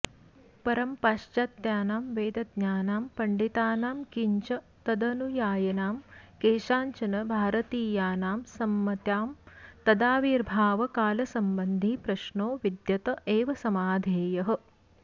परं पाश्चात्यानां वेदज्ञानां पण्डितानां किञ्च तदनुयायिनां केषाञ्चन भारतीयानां सम्मत्यां तदाविर्भावकालसम्बन्धी प्रश्नो विद्यत एव समाधेयः